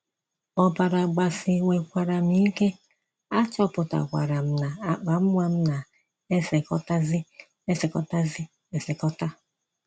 Ọbara gbasiwekwara m ike, achọpụtakwara m na akpa nwa m na - esekọtazi esekọtazi esekọta.